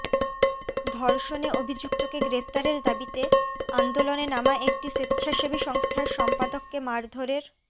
ধর্ষণে অভিযুক্তকে গ্রেফতারের দাবিতে আন্দোলনে নামা একটি স্বেচ্ছাসেবী সংস্থার সম্পাদককে মারধরের